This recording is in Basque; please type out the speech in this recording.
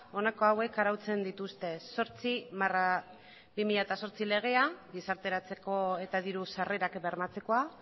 honako hauek arautzen dituzte zortzi barra bi mila zortzi legea gizarteratzeko eta diru sarrerak bermatzekoa